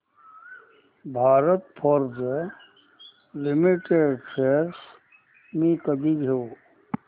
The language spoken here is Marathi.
भारत फोर्ज लिमिटेड शेअर्स मी कधी घेऊ